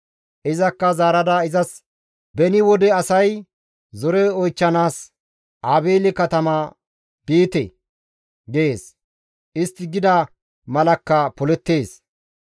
Izakka zaarada izas, «Beni wode asay, ‹Zore oychchanaas Aabeele katama biite!› gees; istti gida malakka polettees.